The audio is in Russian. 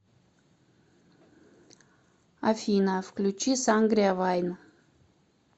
афина включи сангриа вайн